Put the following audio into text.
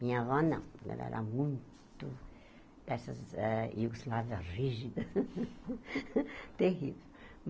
Minha avó não, ela era muito dessas eh... e rígida, terrível.